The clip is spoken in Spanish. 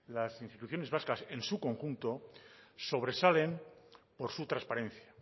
las instituciones vascas en su conjunto sobresalen por su transparencia